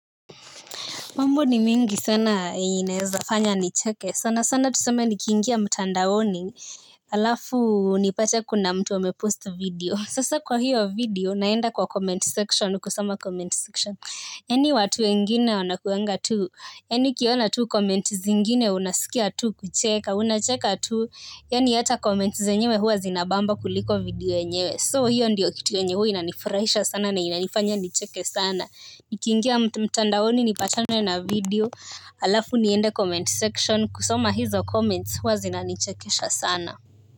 Mambo ni mingi sana yenye inaweza fanya nicheke. Sana sana tuseme nikiingia mtandaoni halafu nipate kuna mtu amepost video. Sasa kwa hiyo video naenda kwa comment section kusoma comment section. Yaani watu wengine wanakuwanga tu. Yaani kuona tu comment zingine unasikia tu kucheka. Unacheka tu. Yaani hata comment zenyewe huwa zinabamba kuliko video yenyewe. So hiyo ndiyo kitu yenye huwa inanifurahisha sana na inanifanya nicheke sana. Nikiingia mtandaoni nipatane na video halafu niende comment section kusoma hizo comments huwa zinanichekesha sana.